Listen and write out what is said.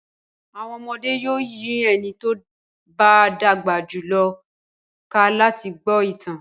Àwọn ọmọdé yóò yí ẹni tó bá dàgbà jù lọ ká láti gbọ́ ìtàn.